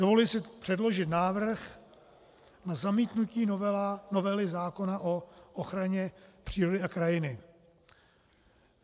Dovoluji si předložit návrh na zamítnutí novely zákona o ochraně přírody a krajiny.